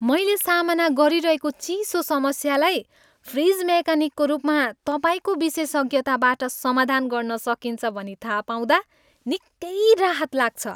मैले सामना गरिरहेको चिसो समस्यालाई फ्रिज मेकानिकको रूपमा तपाईँको विशेषज्ञताबाट समाधान गर्न सकिन्छ भनी थाहा पाउँदा निकै राहत लाग्छ।